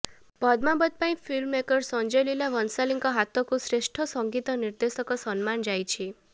ପଦ୍ମାବତ ପାଇଁ ଫିଲ୍ମମେକର୍ ସଂଜୟଲୀଲା ଭଂଶାଲୀଙ୍କ ହାତକୁ ଶ୍ରେଷ୍ଠ ସଙ୍ଗୀତ ନିର୍ଦ୍ଦେଶକ ସମ୍ମାନ ଯାଇଛି